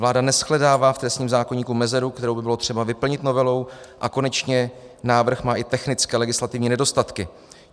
Vláda neshledává v trestním zákoníku mezeru, kterou by bylo třeba vyplnit novelou, a konečně návrh má i technické legislativní nedostatky.